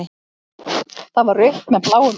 Það var rautt með bláum æðum.